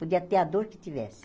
Podia ter a dor que tivesse.